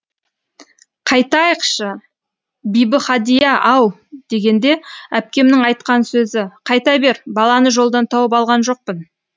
қайтайықшы бибіхадия ау дегенде әпкемнің айтқан сөзі қайта бер баланы жолдан тауып алған жоқпын